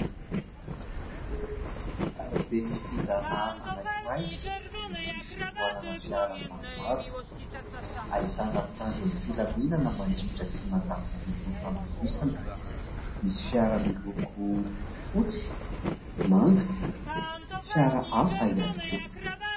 Arabe migodana anankiray, misy fitohanana fiara maromaro. Ahitana mpitandron'ny filaminana mandrindra sy mandamina ny fifamoivoizana. Misy fiara miloko fotsy, manga, fiara hafa ihany koa.